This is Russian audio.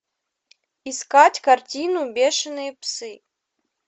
искать картину бешеные псы